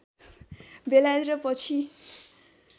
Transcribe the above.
बेलायत र पछि